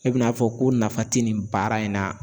E bɛn'a fɔ ko nafa tɛ nin baara in na